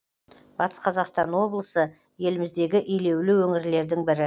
батыс қазақстан облысы еліміздегі елеулі өңірлердің бірі